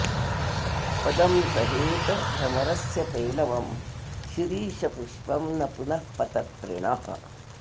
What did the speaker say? पदं सहेत भ्रमरस्य पेलवं शिरीशपुष्पं न पुनः पतत्रिणः